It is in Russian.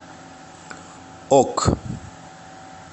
ок